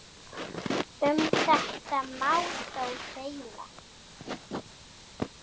Um þetta má þó deila.